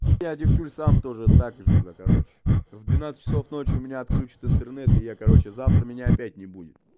я девчули сам тоже также блядь короче в двенадцать часов ночи у меня отключат интернет и я короче завтра меня опять не буду